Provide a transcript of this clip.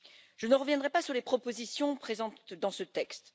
Je ne reviendrai pas sur les propositions présentes dans ce texte.